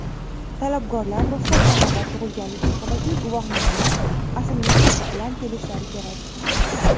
Talabgorlar ruxsatnoma va tug‘ilganlik haqidagi guvohnomaning asl nusxasi bilan kelishlari kerak.